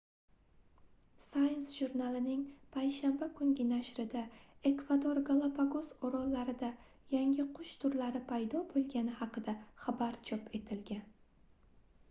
science jurnalining payshanba kungi nashrida ekvador galapagos orollarida yangi qush turlari paydo boʻlgani haqida xabar chop etilgan